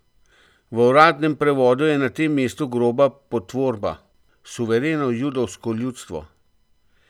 V uradnem prevodu je na tem mestu groba potvorba: "suvereno judovsko ljudstvo".